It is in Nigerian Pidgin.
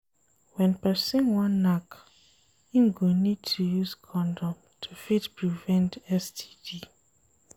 When person wan knack im go need to use condom to fit prevent STD